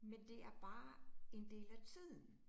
Men det er bare en del af tiden